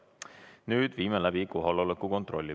Nüüd viime läbi kohaloleku kontrolli.